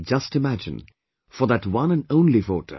Just imagine ... for that one and only voter